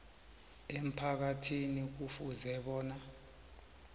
emphakathini kufuze bona